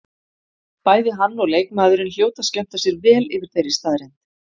Bæði hann og leikmaðurinn hljóta að skemmta sér vel yfir þeirri staðreynd.